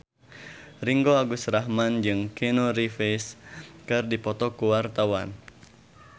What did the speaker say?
Ringgo Agus Rahman jeung Keanu Reeves keur dipoto ku wartawan